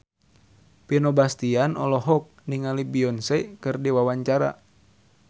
Vino Bastian olohok ningali Beyonce keur diwawancara